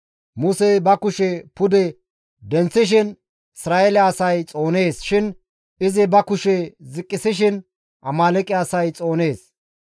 Musey ba kushe pude denththishin Isra7eele asay xoonees shin izi ba kushe ziqqisishin Amaaleeqe asay xoonees.